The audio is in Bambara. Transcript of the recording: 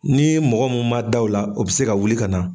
Ni mɔgɔ mun ma da o la, o be se ka wuli ka na.